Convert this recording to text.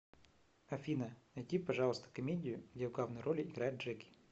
афина найди пожалуйста комедию где в главной роли играет джеки